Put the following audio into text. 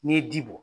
N'i ye ji bɔ